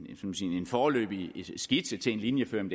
foreløbig skitse til en linjeføring